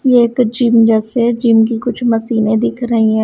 ये एक जिम जैसे जिम की कुछ मशीनें दिख रही है।